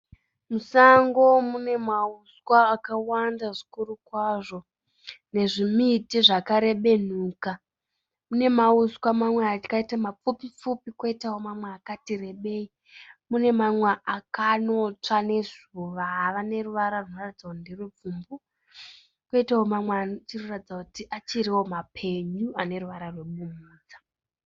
Musango mune mahuswa akawanda zvikuru kwazvo nezvimiti zvakarebenuka. Mune mahuswa mamwe akaita mapfupi pfupi kwoitawo mamwe akati rebei. Mune mamwe akanotsva nezuva ava neruvara rwunoratidza kuti nderwepfumbu kwoitawo mamwe achiri kuratidza kuti achiriwo mapenyu ane ruvara rwebumhudza.